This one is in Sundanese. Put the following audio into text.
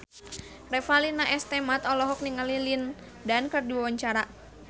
Revalina S. Temat olohok ningali Lin Dan keur diwawancara